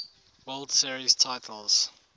world series titles